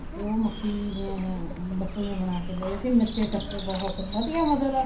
ਫ਼ੇਰ ਉਹ ਮੱਕੀ ਦੀਆਂ ਬੱਕਲੀਆਂ ਬਣਾ ਕੇ ਗਏ ਅਸੀਂ ਨੱਚੇ ਟੱਪੇ ਬਹੁਤ ਵਧੀਆ ਮਤਲਬ